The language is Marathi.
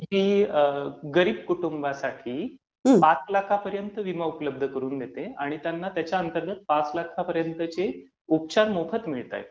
की गरीब कुटुंबांसाठी पाच लाखांपर्यंतचा विमा उपलब्ध करून देते आणि त्यांना त्याच्या अंतरंगात पाच लाखांपर्यंतचे उपचार मोफत मिळत आहेत.